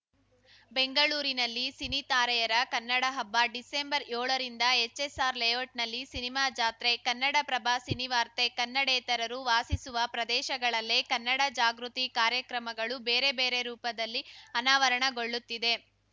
ಬೆಂಗಳೂರಿನಲ್ಲಿ ಸಿನಿತಾರೆಯರ ಕನ್ನಡ ಹಬ್ಬ ಡಿಸೆಂಬರ್ಯೋಳರಿಂದ ಎಚ್‌ಎಸ್‌ಆರ್‌ ಲೇಔಟ್‌ನಲ್ಲಿ ಸಿನಿಮಾ ಜಾತ್ರೆ ಕನ್ನಡಪ್ರಭ ಸಿನಿವಾರ್ತೆ ಕನ್ನಡೇತರರು ವಾಸಿಸುವ ಪ್ರದೇಶಗಳಲ್ಲೇ ಕನ್ನಡ ಜಾಗೃತಿ ಕಾರ್ಯಕ್ರಮಗಳು ಬೇರೆ ಬೇರೆ ರೂಪದಲ್ಲಿ ಅನಾವರಣಗೊಳ್ಳುತ್ತಿದೆ